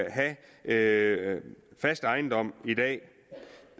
have fast ejendom i dag